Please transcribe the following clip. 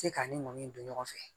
Se ka ni ŋɔni don ɲɔgɔn fɛ